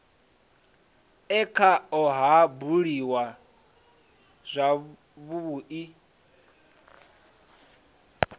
e khao ha buliwa zwavhui